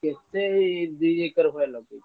କେତେ ଏଇ ଦି ଏକର ଭଳିଆ ଲଗେଇଛି।